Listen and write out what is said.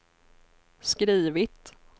skrivit